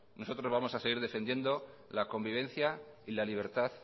nosotros vamos a seguir defendiendo la convivencia y la libertad